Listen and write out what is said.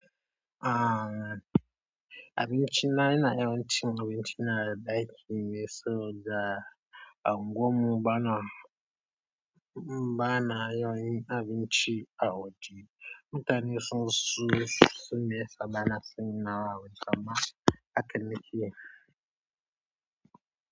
Aaa, abinci na yana yin ci abinci na daƙi ne saboda. A ungwan mu bana, ba na yin abinci a waje. Mutane sun su, sun yi saɓana sun yi nawa wajen zaman a cikin ciki.